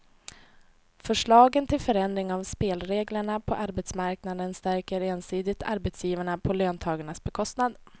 Förslagen till förändring av spelreglerna på arbetsmarknaden stärker ensidigt arbetsgivarna på löntagarnas bekostnad.